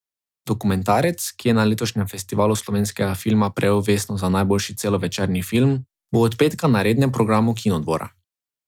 Dokumentarec, ki je na letošnjem Festivalu slovenskega filma prejel vesno za najboljši celovečerni film, bo od petka na rednem programu Kinodvora.